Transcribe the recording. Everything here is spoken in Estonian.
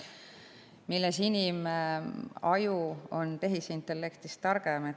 Milles on inimaju tehisintellektist targem?